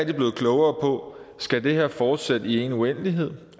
blevet klogere på skal det her fortsætte i en uendelighed